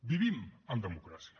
vivim en democràcia